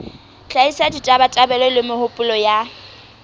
hlahisa ditabatabelo le mehopolo ya